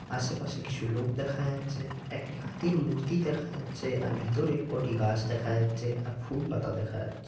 আশেপাশে কিছু লোক দেখা যাচ্ছে। একটি হাতির মূর্তি দেখা যাচ্ছে আর ভিতরে কটি গাছ দেখা যাচ্ছে আর ফুল পাতা দেখা যাচ্ছে।